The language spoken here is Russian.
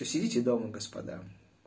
то сидите дома господа